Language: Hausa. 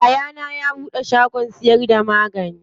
Yayana ya buɗe shagon siyar da magani.